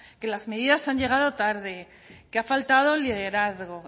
que las medidas han llegado tarde que ha faltado liderazgo